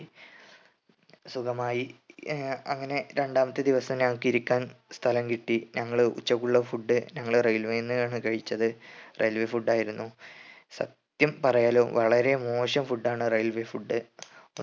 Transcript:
സുഖമായി ഏർ അങ്ങനെ രണ്ടാമത്തെ ദിവസം ഞങ്ങക്ക് ഇരിക്കാൻ സ്ഥലം കിട്ടി ഞങ്ങള് ഉച്ചയ്ക്കുള്ള food ഞങ്ങള് railway നിന്നാണ് കഴിച്ചത് raiway food ആയിരുന്നു സത്യം പറയാലോ വളരെ മോശം food ആണ് railway food